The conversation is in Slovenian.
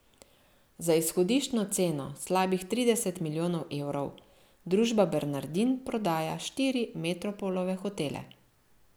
Za izhodiščno ceno slabih trideset milijonov evrov družba Bernardin prodaja štiri Metropolove hotele.